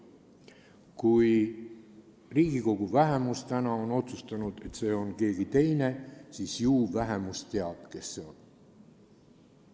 Kui Riigikogu vähemus on täna otsustanud, et see on keegi teine, ju siis vähemus teab, kes see on.